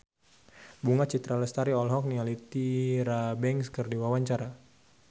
Bunga Citra Lestari olohok ningali Tyra Banks keur diwawancara